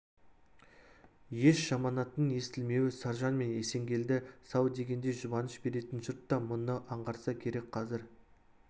еш жаманаттың естілмеуі саржан мен есенгелді сау дегендей жұбаныш беретін жұрт та мұны аңғарса керек қазір